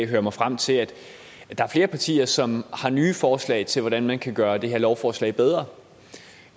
høre mig frem til at der er flere partier som har nye forslag til hvordan man kan gøre det her lovforslag bedre